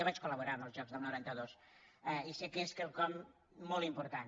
jo vaig col·laborar en els jocs del noranta dos i sé que és quelcom molt important